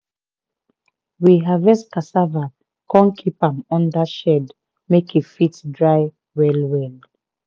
we harvest cassava come keep am under shed make e fit dry well well.